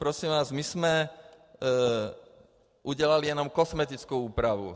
Prosím vás, my jsme udělali jenom kosmetickou úpravu.